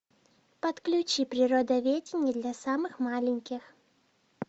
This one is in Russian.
подключи природоведение для самых маленьких